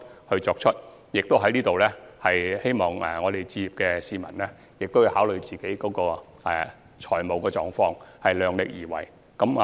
此外，我亦希望想置業的市民考慮自己的財務狀況，量力而為。